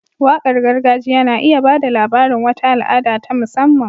Waƙar gargajiya na iya ba da labarin wata al'ada ta musamman.